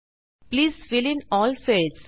please fill in all fields